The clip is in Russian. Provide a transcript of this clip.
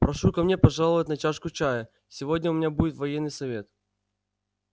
прошу ко мне пожаловать на чашку чаю сегодня у меня будет военный совет